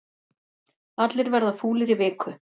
Allir verða fúlir í viku